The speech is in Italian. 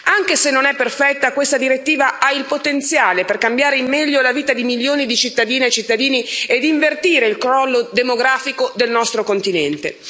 Anche se non è perfetta, questa direttiva ha il potenziale per cambiare in meglio la vita di milioni di cittadine e cittadini ed invertire il crollo demografico del nostro continente.